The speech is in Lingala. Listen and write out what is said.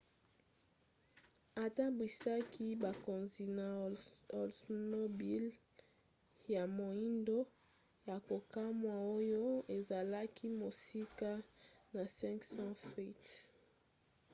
atambwisaki bakonzi na oldsmobile ya moindo ya kokamwa oyo ezalaki mosika na 500 feet